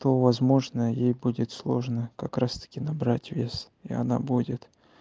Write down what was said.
то возможно ей будет сложно как раз-таки набрать вес и она будет